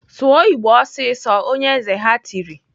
"Sụọ Igbo ọsịsọ!" Onye eze ha tiri.